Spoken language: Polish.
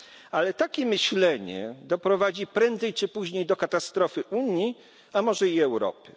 Ale takie myślenie doprowadzi prędzej czy później do katastrofy Unii, a może i Europy.